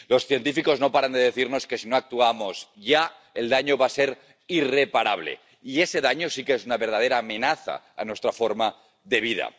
Los científicos no paran de decirnos que si no actuamos ya el daño va a ser irreparable, y ese daño sí que es una verdadera amenaza a nuestra forma de vida.